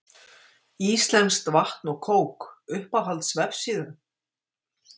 íslenskt vatn og kók Uppáhalds vefsíða?